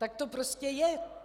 Tak to prostě je.